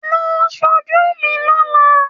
Lọ sójú mi lọ́la